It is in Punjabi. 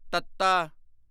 ਤੱਤਾ